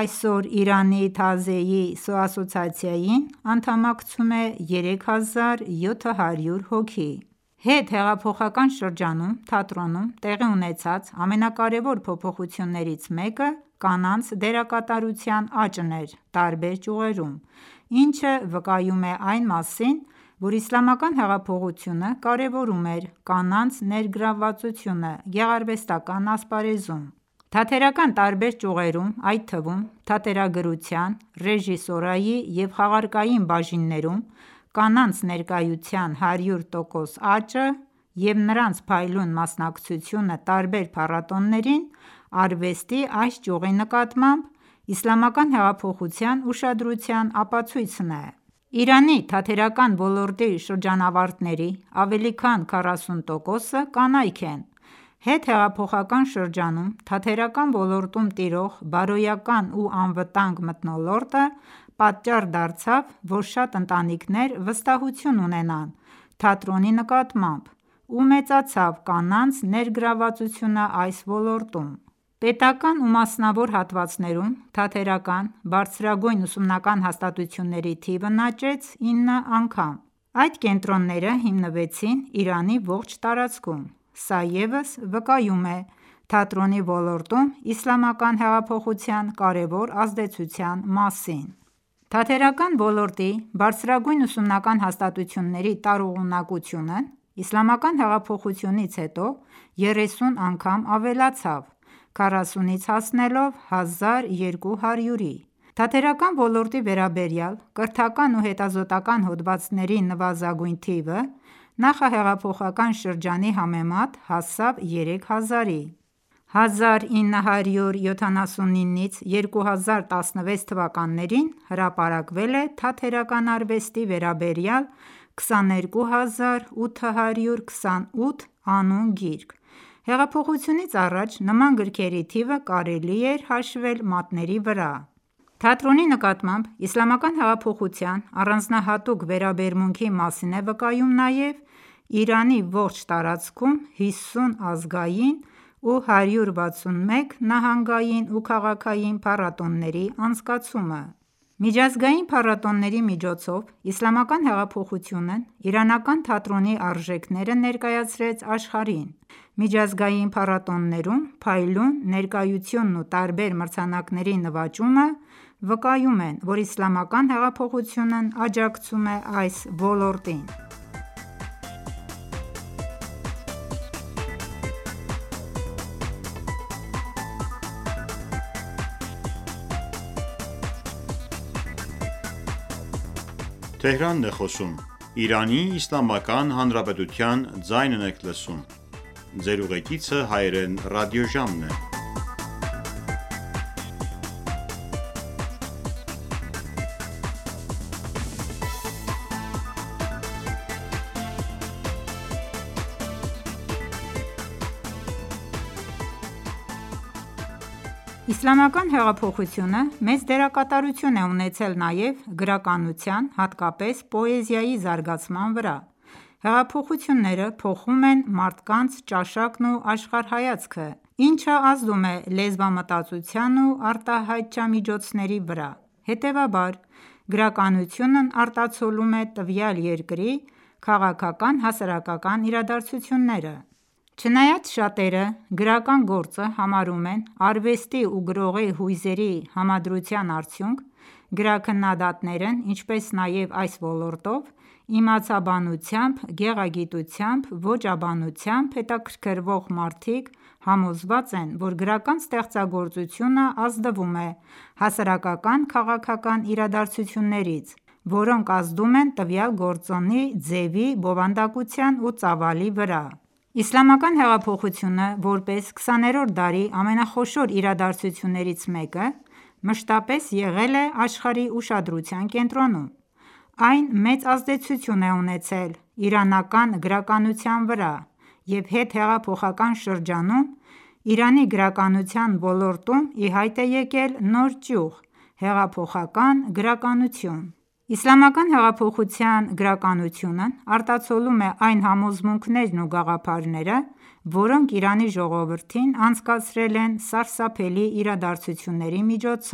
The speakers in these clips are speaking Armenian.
Այսօր Իրանի Թաազիեի ասոցիացիային անդամակցում է 3700 հոգի: Հետհեղափոխական շրջանում թատրոնում տեղի ունեցած ամենակարևոր փոփոխություններից մեկը կանանց դերակատարության աճն էր տարբեր ճյուղերում, ինչը վկայում է այն մասին, որ իսլամական հեղափոխությունը կարևորում էր կանանց ներգրավվածությունը գեղարվեստական ասպարեզում: Թատերական տարբեր ճյուղերում, այդ թվում՝ թատերագրության, ռեժիսուրայի և խաղարկային բաժիններում կանանց ներկայության 100 տոկոսանոց աճը և նրանց փայլուն մասնակցությունը տարբեր փառատոներին, արվեստի այս ճյուղի նկատմամբ իսլամական հեղափոխության ուշադրության ապացույցն է: Իրանի թատերական ոլորտի շրջանավարտների ավելի քան 40 տոկոսը կանայք են: Հետհեղափոխական շրջանում թատերական ոլորտում տիրող բարոյական ու անվտանգ մթնոլորտը պատճառ դարձավ, որ շատ ընտանիքներ վստահություն ունենան թատրոնի նկատմամբ ու մեծացավ կանանց ներգրավվածությունն այս ոլորտում: Պետական ու մասնավոր հատվածներում թատերական ԲՈՒՀ-երի թիվն աճեց 9 անգամ: Այդ կենտրոնները հիմնվեցին Իրանի ողջ տարածքում: Սա ևս վկայում է թատրոնի ոլորտում իսլամական հեղափոխության կարևոր ազդեցության մասին: Թատերական ոլորտի ԲՈՒՀ-երի տարողունակությունն իսլամական հեղափոխությունից հետո 30 անգամ ավելացավ, 40-ից հասնելով 1200-ի: Թատերական ոլորտի վերաբերյալ կրթական ու հետազոտոական հոդվածների նվազագույն թիվը, նախահեղափոխական շրջանի համեմատ հասավ 3 հազարի: 1979-2016թթ․ հրապարակվել է թատերական արվեստի վերաբերյալ 22828 անուն գիրք: Հեղափոխությունից առաջ, նման գրքերի թիվը կարելի էր հաշվել մատների վրա: Թատրոնի նկատմամբ իսլամական հեղափոխության առանձնահատուկ վերաբերմունքի մասին է վկայում նաև Իրանի ողջ տարածքում 50 ազգային ու 161 նահանգային ու քաղաքային փառատոների անցկացումը: Միջազգային փառատոների միջոցով, իսլամական հեղափոխությունն իրանական թատրոնի արժեքները ներկայացրեց աշխարհին: Միջազգային փառատոներում փայլուն ներկայությունն ու տարբեր մրցանակների նվաճումը վկայում են, որ իսլամական հեղափոխությունն աջակցում է այս ոլորտին: Թատրոնի զարգացումն իսլամական հեղափոխությունից հետո Իսլամական հեղափոխությունը մեծ դերակատարություն է ունեցել նաև գրականության, հատկապես՝ պոեզիայի զարգացման վրա: Հեղափոխությունները փոխում են մարդկանց ճաշակն ու աշխարհայացքը, ինչը ազդում է լեզվամտածողության ու արտահայտչամիջոցների վրա: Հետևաբար, գրականությունն արտացոլում է տվյալ երկրի քաղաքական-հասարակական իրադարձությունները: Չնայած շատերը գրական գործը համարում են արվեստի ու գրողի հույզերի համադրության արդյունք, գրաքննադատներն ինչպես նաև այս ոլորտով, իմացաբանությամբ, գեղագիտությամբ, ոճաբանությամբ հետաքրքրվող մարդիկ համոզված են, որ գրական ստեղծագործությունն ազդվում է հասարակական-քաղաքական իրադարձություններից, որոնք ազդում են տվյալ գործի ձևի, բովանդակության ու ծավալի վրա: Իսլամական հեղափոխությունը, որպես 20-րդ դարի ամենախոշոր իրադարձություններից մեկը, մշտապես եղել է աշխարհի ուշադրության կենտրոնում: Այն մեծ ազդեցություն է ունեցել իրանական գրականության վրա և հետհեղափոխական շրջանում Իրանի գրականության ոլորտում ի հայտ է եկել նոր ճյուղ՝ հեղափոխական գրականություն: Իսլամական հեղափոխության գրականությունն արտացոլում է այն համոզմունքներն ու գաղափարները, որոնք Իրանի ժողովրդին անցկացրել են սարսափելի իրադարձությունների միջով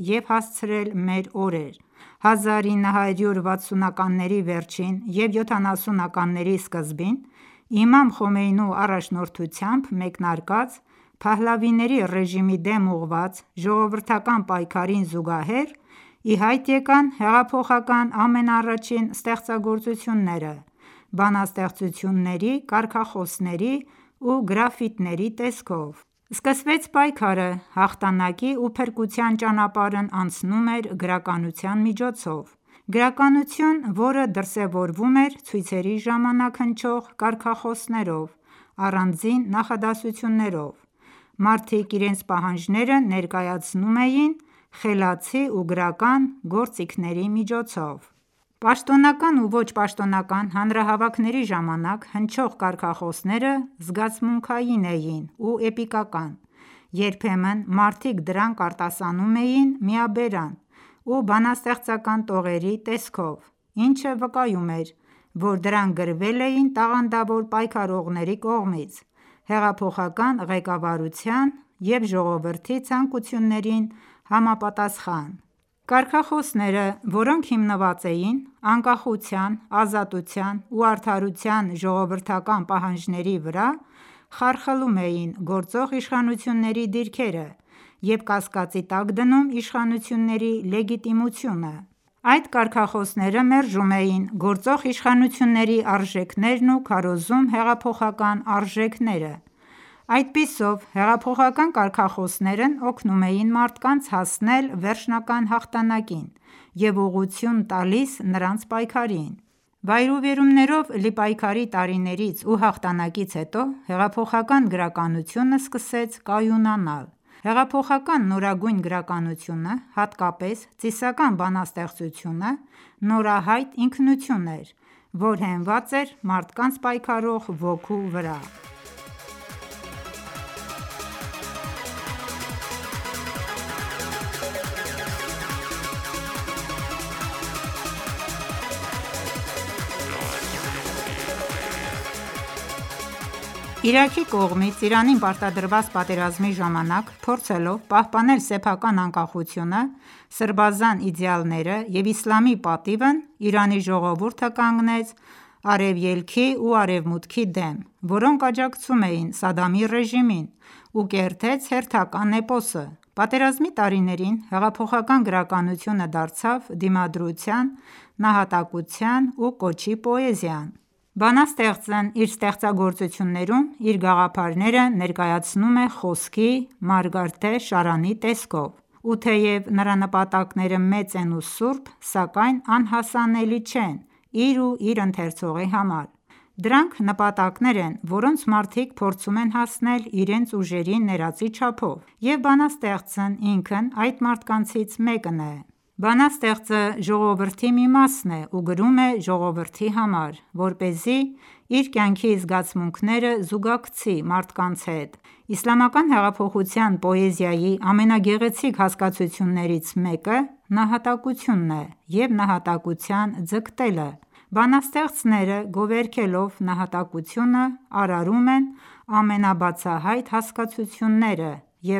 ու հասցրել մեր օրեր: 1960-ականների վերջին և 70-ականների սկզբին իմամ խոմեյնու առաջնորդությամբ մեկնարկած՝ Փահլավիների ռեժիմի դեմ ուղղված ժողովրդական պայքարին զուգահեռ, ի հայտ եկան հեղափոխական ամենաառաջին ստեղծագործությունները՝ բանաստեղծությունների, կարգախոսների ու գրաֆիտիների տեսքով: Սկսվեց պայքարը: Հաղթանակի ու փրկության ճանապարհն անցնում էր գրականության միջով: Գրականություն, որը դրսևորվում էր ցույցերի ժամանակ հնչող կարգախոսներով, առանձին նախադասություններով: Մարդիկ իրենց պահանջները ներկայացնում էին խելացի ու գրական գործիքների միջոցով: Պաշտոնական ու ոչ պաշտոնական հանրահավաքների ժամանակ հնչող կարգախոսները զգացմունքային էին ու էպիկական: Երբեմն մարդիկ դրանք արտասանում էին միաբերան, ու բանաստեղծական տողերի տեսքով, ինչը վկայում էր, որ դրանք գրվել էին տաղանդավոր պայքարողների կողմից՝ հեղափոխական ղեկավարության և ժողովրդի ցանկություններին համապատասխան։ Կարգախոսները, որոնք հիմնված էին անկախության, ազատության ու արդարության ժողովրդական պահանջների վրա, խարխլում էին գործող իշխանությունների դիրքերը և կասկածի տակ դնում իշխանությունների լեգիտիմությունը: Այդ կարգախոսները մերժում էին գործող իշխանությունների արժեքներն ու քարոզում հեղափոխական արժեքները: Այդպիսով, հեղափոխական կարգախոսներն օգնում էին մարդկանց հասնել վերջնական հաղթանակին և ուղղություն տալիս նրանց պայքարին: Վայրիվերումներով լի պայքարի տարիներից ու հաղթանակից հետո, հեղափոխական գրականությունը սկսեց կայունանալ: Հեղափոխական նորագույն գրականությունը, հատկապես ծիսական բանաստեղծությունը, նորահայտ ինքնություն էր, որ հենված էր մարդկանց պայքարող ոգու վրա: Իրաքի կողմից Իրանին պարտադրված պատերազմի ժամանակ, փորձելով պահպանել սեփական անկախությունը, սրբազան իդելաները և իսլամի պատիվն Իրանի ժողովուրդը կանգնեց Արևելքի ու Արևմուտքի դեմ, որոնք աջակցում էին Սադդամի ռեժիմին, ու կերտեց հերթական էպոսը: Պատերազմի տարիներին հեղափոխական գրականությունը դարձավ դիմադրության, նահատակության ու կոչի պոեզիան: Բանաստեղծն իր ստեղծագործություններում իր գաղափարները ներկայացնում է խոսքի մարգարտե շարանի տեսքով: Ու թեև նրա նպատակները մեծ են ու սուրբ, սակայն անհասանելի չեն իր ու իր ընթերցողի համար: Դրանք նպատակներ են, որոնց մարդիկ փորձում են հասնել իրենց ուժերի ներածի չափով: Եվ բանաստեղծն ինքն այդ մարդկանցից մեկն է: Բանաստեղծը ժողովրդի մի մասն է ու գրում է ժողովրդի համար, որպեսզի իր կյանքի զգացմունքները զուգակցի մարդկանց հետ: Իսլամական հեղափոխության պոեզիայի ամենագեղեցիկ հասկացություններից մեկը նահատակությունն է, և նահատակության ձգտելը: Բանաստեղծները, գովերգելով նահատակությունը, արարում են ամենաբացահայտ հասկացությունները և